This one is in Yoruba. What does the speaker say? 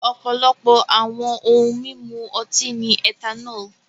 Ọ̀pọ̀lọpọ̀ àwọn ohun mímu ọtí ní ethanol.